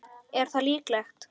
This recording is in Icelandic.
Er það líklegt?